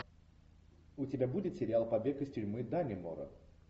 у тебя будет сериал побег из тюрьмы даннемора